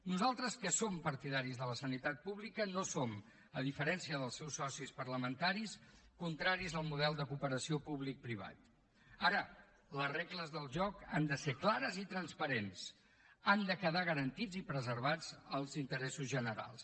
nosaltres que som partidaris de la sanitat pública no som a diferència dels seus socis parlamentaris contraris al model de cooperació publicoprivat ara les regles del joc han de ser clares i transparents han de quedar garantits i preservats els interessos generals